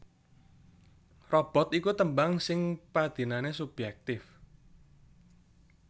Robot iku tembang sing padinane subjektif